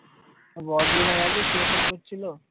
বড় জেনে গেছে কে ফোন করছিলো?